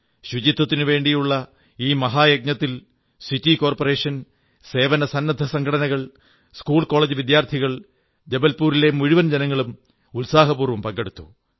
ശുചിത്വത്തിന് വേണ്ടിയുള്ള ഈ മഹായജ്ഞത്തിൽ സിറ്റി കോർപ്പറേഷൻ സേവനസന്നദ്ധസംഘടനകൾ സ്കൂൾകോളജ് വിദ്യാർഥികൾ ജബൽപൂരിലെ മുഴുവൻ ജനങ്ങളും ഉത്സാഹപൂർവ്വം പങ്കെടുത്തു